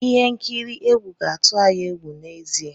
Ihe nkiri egwu ga-atụ anyị egwu n'ezie.